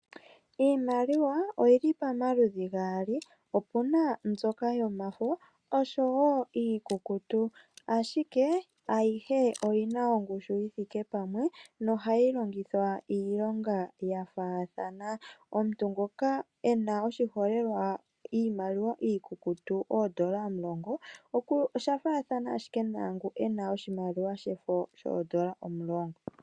Iimaliwa oyili pamaludhi gaali, opena mbyoka yomafo, oshowo iikukutu, ashike ayihe oyina ongushu yi thike pamwe, nohayi longithwa iilonga ya faathana. Omuntu ngoka ena, oshiholelwa iimaliwa iikukutu oondola omulongo, osha fathana ashike naangu ena oshimaliwa shefo shoondola omulongo.